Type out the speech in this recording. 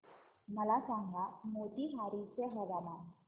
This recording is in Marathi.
मला सांगा मोतीहारी चे हवामान